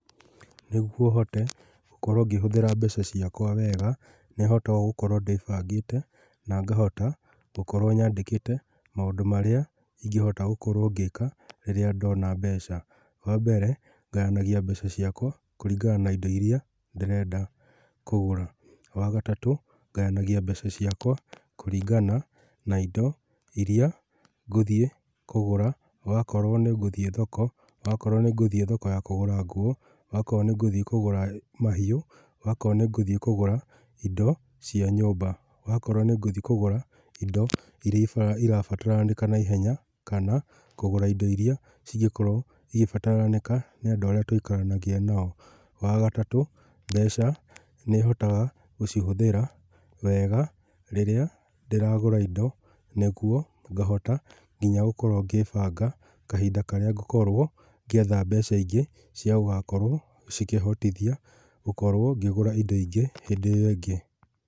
Nĩgwo hote gũkorwo ngĩhũthĩra mbeca ciakwa wega, nĩhotaga gũkorwo ndĩbangĩte na ngahota gũkorwo nyandĩkĩte maũndũ marĩa ingĩhota gũkorwo ngĩka rĩrĩa ndona mbeca. Wa mbere, ngayanagia mbeca ciakwa kũringana na indo iria ndĩrenda kũgũra. Wa gatatũ, ngayanagia mbeca ciakwa kũringana na indo irĩa ngũthiĩ kũgũra, wakorwo nĩ ngũthiĩ thoko, wakorwo nĩ ngũthiĩ thoko ya nguo, wakorwo nĩ ngũthiĩ kũgũra mahiũ, wakoro nĩngũthiĩ kũgũra indo cia nyũmba, wakorwo nĩ ngũthiĩ kũgũra indo irĩa irabataranĩka na ihenya kana kũgũra indo irĩa cingĩkorwo igĩbataranĩka nĩ andũ arĩa twĩkaranagia nao. Wagatatũ, mbeca nĩhotaga gũcihũthĩra wega rĩrĩa ndĩragũra indo nĩgwo ngahota nginya gũkorwo ngĩibanga kahinda karĩa ngũkorwo ngĩetha mbeca ingĩ, cia gũgakrwo cikĩhotithia gũkorwo ngĩgũra indo ingĩ hĩndĩ ĩyo ĩngĩ.